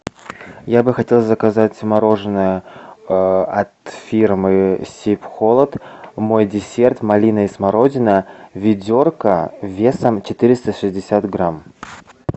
я бы хотел заказать мороженое от фирмы сибхолод мой десерт малина и смородина ведерко весом четыреста шестьдесят грамм